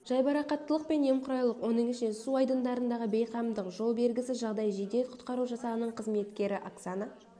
жайбарақаттылық пен немқұрайлылық оның ішінде су айдындарындағы бейқамдық жол бергісіз жағдай жедел-құтқару жасағының қызметкері оксана